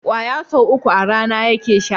ƙwaya sau uku a rana yake sha